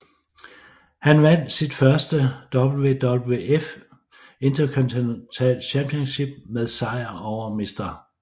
Han vandt sit første WWF Intercontinental Championship med sejr over Mr